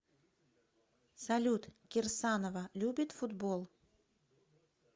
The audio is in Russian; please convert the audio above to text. салют кирсанова любит футбол